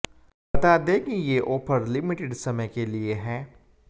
बता दें कि ये ऑफर लिमिटेड समय के लिए है